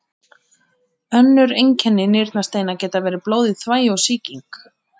Önnur einkenni nýrnasteina geta verið blóð í þvagi og sýking.